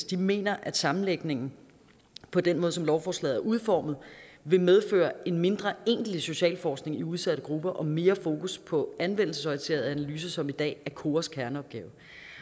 de mener at sammenlægningen på den måde som lovforslaget er udformet vil medføre en mindre egentlig socialforskning i udsatte grupper og mere fokus på anvendelsesorienterede analyser som i dag er koras kerneopgave